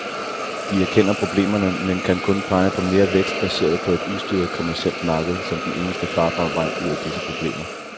De erkender problemerne, men kan kun pege på mere vækst baseret på et ustyret kommercielt marked som den eneste farbare vej ud af disse problemer.